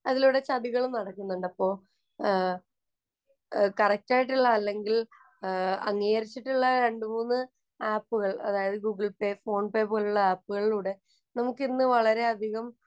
അതിലൂടെ ചതികളും നടക്കുന്നുണ്ട്. അപ്പോൾ കറക്റ്റ് ആയിട്ടുള്ള അല്ലെങ്കില്‍ അംഗീകരിച്ചിട്ടുള്ള രണ്ടു മൂന്നു ആപ്പുകള്‍ അതായത് ഗൂഗിള്‍ പേ, ഫോണ്‍പേ പോലുള്ള ആപ്പുകളിലൂടെ നമുക്കിന്നു വളരെയധികം